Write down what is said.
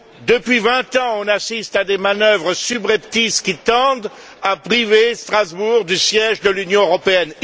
Depuis 20 ans, on assiste à des manœuvres subreptices qui tendent à priver Strasbourg du siège de l'Union européenne.